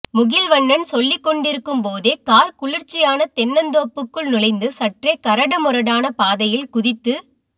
முகில்வண்ணன் சொல்லிக்கொண்டிருக்கும் போதே கார் குளிர்ச்சியான தென்னந்தோப்புக்குள் நுழைந்து சற்றே கரடு முரடான பாதையில் குதித்து